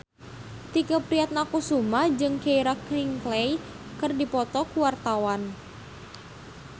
Tike Priatnakusuma jeung Keira Knightley keur dipoto ku wartawan